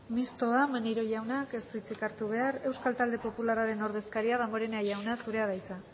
mistoa maneiro jaunak ez du hitzik hartu behar euskal talde popularraren ordezkaria damborenea jauna zurea de hitza